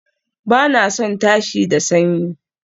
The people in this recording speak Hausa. Ba na son tashi da sanyi